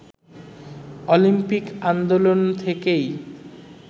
Olympic আন্দোলন থেকেই